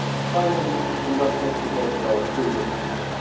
Finally, we must not forget about Syria's future.